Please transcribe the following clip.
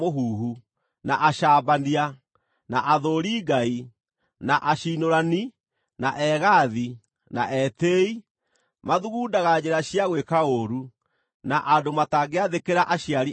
na acambania, na athũũri Ngai, na aciinũrani, na egaathi, na etĩĩi, mathugundaga njĩra cia gwĩka ũũru, na andũ matangĩathĩkĩra aciari ao;